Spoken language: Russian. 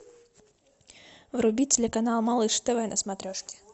вруби телеканал малыш тв на смотрешке